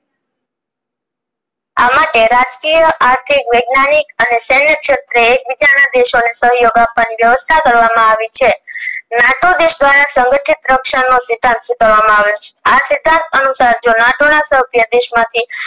રજક્રિયા આર્થિક વાગન્યનિક અને સેન્ય સખ્તી એકબીજાના દેશો ને સહયોગ આપવાની વ્યવસ્થા કરવામાં આવી છે નાટો દેશ દ્વારા સંગતીર્થ રક્ષણ નો સ્વીકાર કરવામાં આવેલો છે આ અનુસાર જો નાતો ના સભ્ય દેશ માંથી